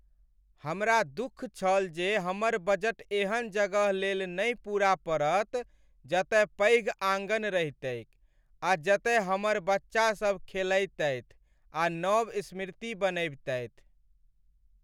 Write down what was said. हमरा दुःख छल जे हमर बजट एहन जगह लेल नहि पूरा पड़त जतय पैघ आँगन रहितैक आ जतय हमर बच्चासभ खेलैतथि आ नव स्मृति बनबितथि।